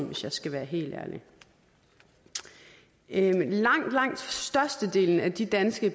hvis jeg skal være helt ærlig langt langt størstedelen af de danske